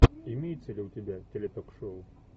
имеется ли у тебя теле ток шоу